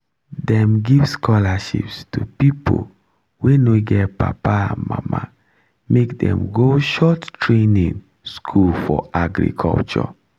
dem give scholarships to people wey no get papa and mama make dem go short training school for agriculture